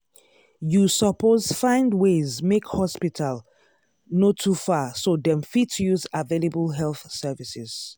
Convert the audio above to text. you suppose find ways make hospital no too far so dem fit use available health services.